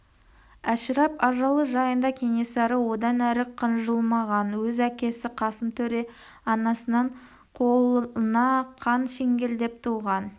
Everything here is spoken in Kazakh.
әшірап ажалы жайында кенесары одан әрі қынжылмаған өз әкесі қасым төре анасынан қолына қан шеңгелдеп туған